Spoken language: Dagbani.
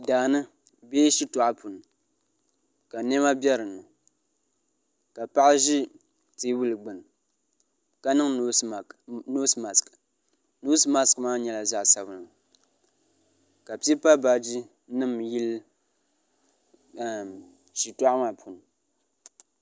daani bee shitoɣu puuni ka niɛma bɛ dinni ka paɣa ʒi teebuli gbuni ka niŋ noos mask noos mask maa nyɛla zaɣ sabinli ka pipa baaji nim yili shitoɣu maa puuni